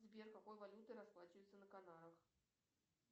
сбер какой валютой расплачиваются на канарах